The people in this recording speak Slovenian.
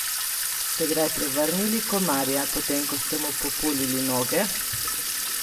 Ste kdaj prevrnili komarja, potem ko ste mu populili noge?